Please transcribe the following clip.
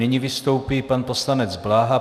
Nyní vystoupí pan poslanec Bláha.